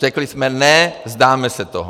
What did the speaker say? Řekli jsme: Ne, vzdáme se toho.